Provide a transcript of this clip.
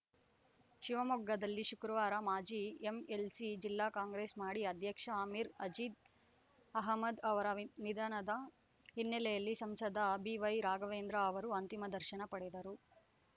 ಶಿವಮೊಗ್ಗದಲ್ಲಿ ಶುಕ್ರವಾರ ಮಾಜಿ ಎಂಎಲ್‌ಸಿ ಜಿಲ್ಲಾ ಕಾಂಗ್ರೆಸ್‌ ಮಾಡಿ ಅಧ್ಯಕ್ಷ ಆಮೀರ್‌ ಅಜೀಜ್‌ ಅಹಮದ್‌ ಅವರ ನಿಧನದ ಹಿನ್ನೆಲೆಯಲ್ಲಿ ಸಂಸದ ಬಿವೈ ರಾಘವೇಂದ್ರ ಅವರು ಅಂತಿಮ ದರ್ಶನ ಪಡೆದರು